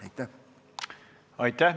Aitäh!